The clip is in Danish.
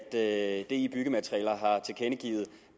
at di byggematerialer har tilkendegivet